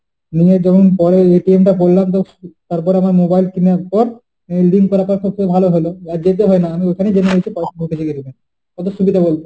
নিয়ে যখন পড়ে এটিএম টা করলাম তখন সু~ তারপরে আবার mobile কেনার পর রোজদিন যাবার থেকে ভালো হলো আর যেতে হয় না আমি ওখানেই জেনে নিচ্ছি notification এ। কত সুবিধা বলতো?